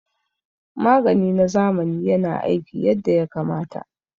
Magani na zamani yana aiki yadda ya kamata